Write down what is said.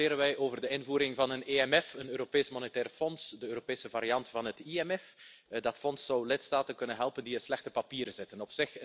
Vandaag debatteren wij over de invoering van een EMF, een Europees Monetair Fonds, de Europese variant van het IMF. Dat fonds zou lidstaten kunnen helpen die in slechte papieren zitten.